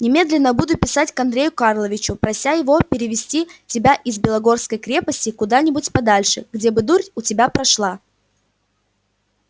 немедленно буду писать к андрею карловичу прося его перевести тебя из белогорской крепости куда-нибудь подальше где бы дурь у тебя прошла